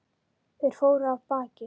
Þeir fóru af baki.